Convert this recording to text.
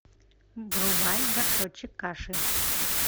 врубай горшочек каши